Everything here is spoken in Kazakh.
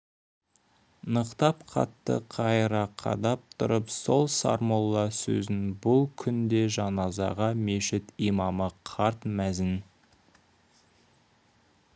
нықтап қатты қайыра қадап тұрып сол сармолла сөзін бұл күнде жаназаға мешіт имамы қарт мәзін